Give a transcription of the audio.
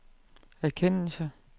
erkendelse